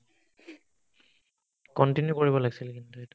continue কৰিব লাগছিল কিন্তু এইটো